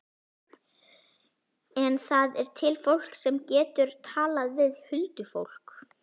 En það er til fólk sem getur talað við huldufólk.